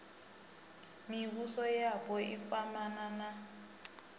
mivhuso yapo i kwamana na